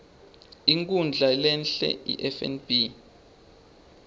inkhundla lehie ifnb